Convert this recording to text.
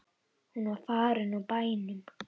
Hún var farin úr bænum.